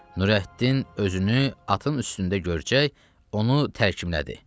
Nurəddin özünü atın üstündə görcək, onu tərkiblədi.